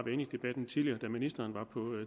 inde i debatten tidligere da ministeren var på